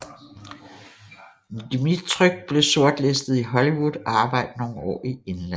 Dmytryk blev sortlistet i Hollywood og arbejdede nogle år i England